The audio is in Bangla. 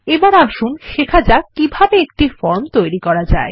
এখন আসুন শেখা যাক কিভাবে একটি ফর্ম তৈরি করা যায়